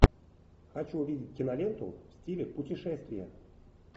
хочу увидеть киноленту в стиле путешествия